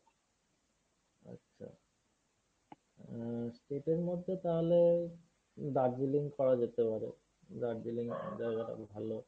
আচ্ছা। উম state এর মধ্যে তাহলে দার্জিলিং করা যেতে পারে। দার্জিলিং জায়গাটা খুব ভালো।